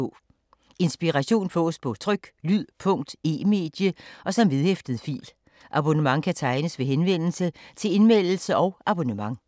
Inspiration fås på tryk, lyd, punkt, e-medie og som vedhæftet fil. Abonnement kan tegnes ved henvendelse til Indmeldelse og abonnement.